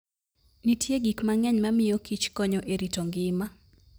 Nitie gik mang'eny mamiyokich konyo e rito ngima.